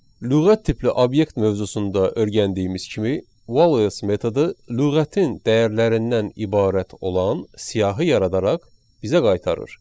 Lüğət tipli obyekt mövzusunda öyrəndiyimiz kimi, wallets metodu lüğətin dəyərlərindən ibarət olan siyahı yaradaraq bizə qaytarır.